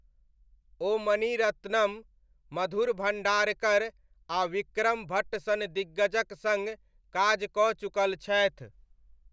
ओ मणि रत्नम, मधुर भण्डारकर आ विक्रम भट्ट सन दिग्गजक सङ्ग काज कऽ चुकल छथि।